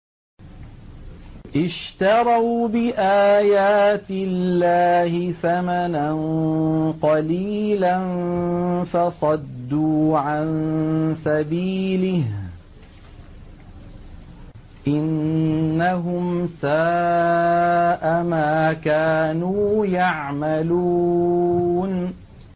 اشْتَرَوْا بِآيَاتِ اللَّهِ ثَمَنًا قَلِيلًا فَصَدُّوا عَن سَبِيلِهِ ۚ إِنَّهُمْ سَاءَ مَا كَانُوا يَعْمَلُونَ